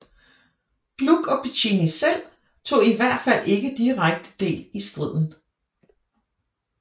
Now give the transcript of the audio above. Gluck og Piccinni selv tog i alt fald ikke direkte del i striden